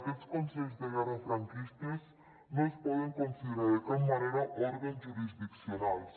aquests consells de guerra franquistes no es poden considerar de cap manera òrgans jurisdiccionals